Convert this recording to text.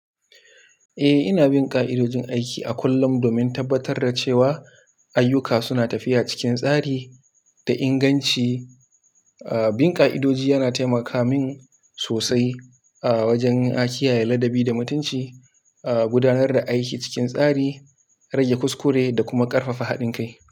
Eh, ina bin ka'idojin aiki a kullum, domin tabbatar da cewa, ayyuka suna tafiya cikin tsari da inganci. Aa, bin ka'idoji yana taimaka min sosai, aa wajen ah, kiyaye ladabi da mutunci, aa gudanar da aiki cikin tsari, rage kuskure da kuma ƙarfafa haɗin kai.